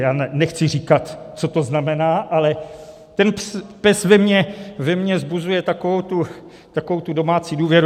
Já nechci říkat, co to znamená, ale ten PES ve mně vzbuzuje takovou tu domácí důvěru.